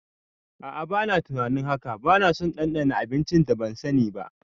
A'a bana tunanin haka, banaso ɗanɗana abincin da ban sani ba